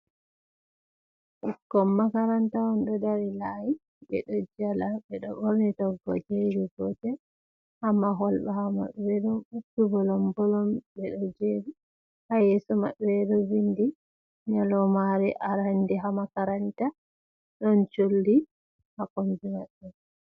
Ɓikkon makaranta on ɗo dari layi. Ɓe ɗo jala, ɓe ɗo ɓorni toggoje iri gotel haa mahol. Ɓaawo maɓɓe ɗo uppi bolom-bolom, ɓe ɗo jeri, haa yeso maɓɓe ɗo vindi nyalaumaare arande haa makaranta. Ɗon colli haa kombi maɓɓe.